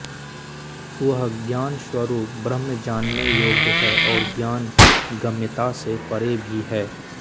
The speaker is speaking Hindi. वह ज्ञानस्वरूप ब्रह्म जानने योग्य है और ज्ञान गम्यता से परे भी है